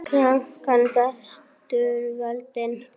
Krankan brestur völdin.